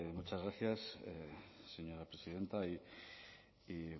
muchas gracias señora presidenta y